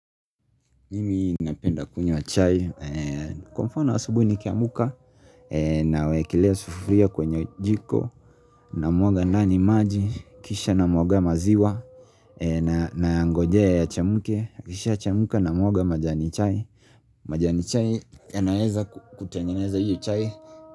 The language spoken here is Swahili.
Mimi napenda kunywa chai, kwa mfano asubuhi nikiamka, nawekelea sufuria kwenye jiko, namwaga ndani maji, kisha namwaga maziwa, nayangojea yachemuke, ikishachemuka namwaga majani chai, majani chai yanaeza kutangeneza hiyo chai.